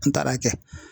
N taara kɛ